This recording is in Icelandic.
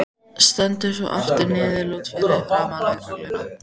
Stendur svo aftur niðurlút fyrir framan lögregluna.